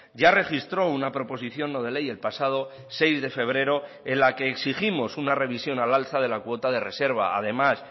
ya registró una proposición no de ley el pasado seis de febrero en la que exigimos una revisión al alza de la cuota de reserva además